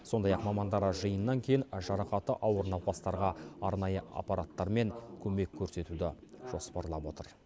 сондай ақ мамандар жиыннан кейін жарақаты ауыр науқастарға арнайы аппараттармен көмек көрсетуді жоспарлап отыр